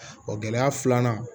O gɛlɛya filanan